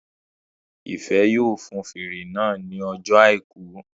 Ìfẹ́ yóò fun fèrè náà ní ọjọ́ àìkú